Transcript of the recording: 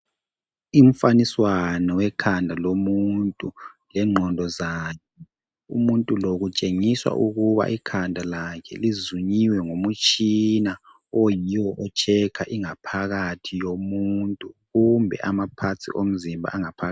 Imfaniswano wekhanda lomuntu lengqondo zakhe umuntu lo kutshengisa ukuba ikhanda lakhe lizunyiwe ngomutshina oyiwo ohlola ingaphakathi yomuntu kumbe izitho zomzimba ezingaphakathi.